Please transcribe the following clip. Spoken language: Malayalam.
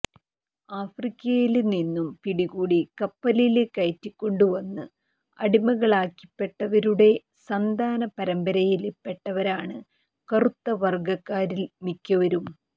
ആഫ്രിക്കയില് നിന്നു പിടികൂടി കപ്പലില് കയറ്റിക്കൊണ്ടുവന്ന് അടിമകളാക്കിപ്പെട്ടവരുടെ സന്താന പരമ്പരയില് പെട്ടവരാണ് കറുത്ത വർഗക്കാരിൽ മിക്കവരും